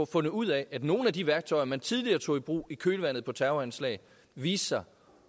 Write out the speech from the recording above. fundet ud af at nogle af de værktøjer man tidligere tog i brug i kølvandet på terroranslag viste sig